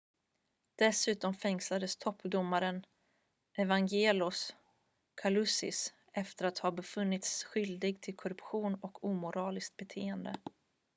dessutom fängslas toppdomaren evangelos kalousis efter att ha befunnits skyldig till korruption och omoraliskt beteende